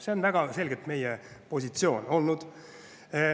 See on väga selgelt meie positsioon olnud.